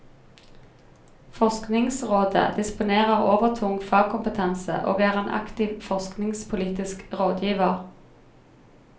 Forskningsrådet disponerer overtung fagkompetanse og er en aktiv forskningspolitisk rådgiver.